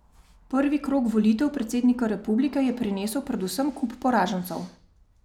Prvi krog volitev predsednika republike je prinesel predvsem kup poražencev.